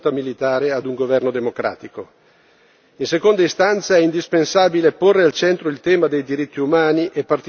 In seconda istanza è indispensabile porre al centro il tema dei diritti umani e particolarmente i diritti dei lavoratori posti seriamente in discussione.